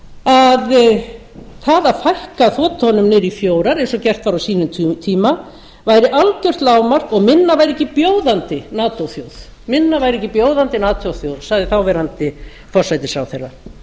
að það að fækka þotunum niður í fjórar eins og gert var á sínum tíma væri algjört lágmark og minna væri ekki bjóðandi natóþjóð sagði þáverandi forsætisráðherra